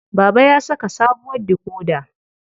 Baba ya saka sabuwar dikoda.